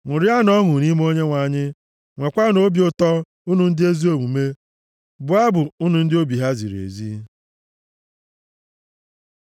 Ṅụrianụ ọṅụ nʼime Onyenwe anyị, nweekwanụ obi ụtọ, unu ndị ezi omume; bụọ abụ, unu ndị obi ha ziri ezi.